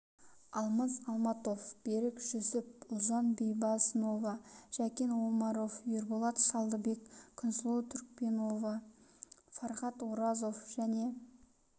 алмас алматов берік жүсіп ұлжан байбосынова жәкен омаров ерболат шалдыбек күнсұлу түркпенова фархат оразов және